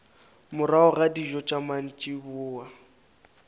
morago ga dijo tša mantšiboa